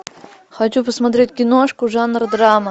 хочу посмотреть киношку жанр драма